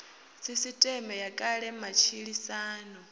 sisiṱeme ya kale ya matshilisano